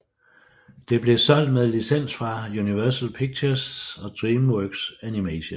Det bliver solgt med licens fra Universal Pictures og DreamWorks Animation